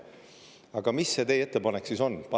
Aga mis see teie ettepanek siis on?